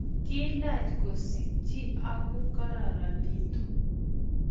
Kiilach kosikchi aku kikararanitu